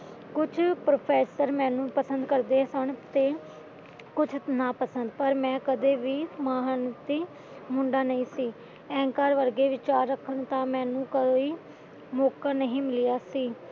ਕੁਝ ਪ੍ਰੋਫੈਸਰ ਮੈਨੂੰ ਪਸੰਦ ਕਰਦੇ ਸਨ ਤੇ ਕੁਝ ਨਾਪਸੰਦ ਪਰ ਮੈਂ ਕਦੇ ਵੀ ਮਹਾਨ ਮੁੰਡਾ ਨਹੀਂ ਸੀ ਅਹਿੰਕਾਰ ਵਰਗੇ ਵਿਚਾਰ ਰੱਖਣ ਦਾ ਮੈਨੂੰ ਕੋਈ ਮੌਕਾ ਨਹੀਂ ਮਿਲਿਆ ਸੀ